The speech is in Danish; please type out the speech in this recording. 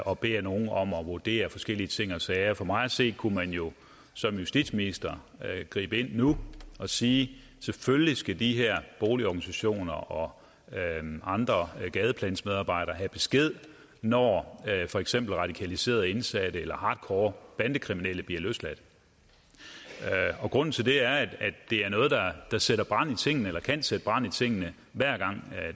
og beder nogle om at vurdere forskellige ting og sager for mig at se kunne man jo som justitsminister gribe ind nu og sige selvfølgelig skal de her boligorganisationer og gadeplansmedarbejdere have besked når for eksempel radikaliserede indsatte eller hardcore bandekriminelle bliver løsladt grunden til det er at det er noget der sætter brand i tingene eller kan sætte brand i tingene hver gang